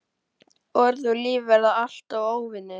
Orð og líf verða alltaf óvinir.